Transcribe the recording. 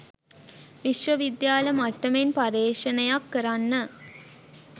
විශ්ව විද්‍යාල මට්ටමෙන් පර්යේෂණයක් කරන්න